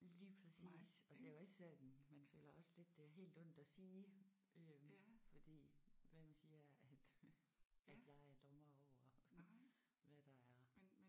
Lige præcis og det er jo også sådan man føler også lidt det er helt ondt at sige øh fordi hvem siger at at jeg er dommer over hvad der er